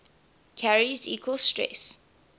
carries equal stress